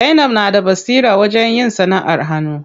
Zainab na da basira wajen yin sanaʼar hannu.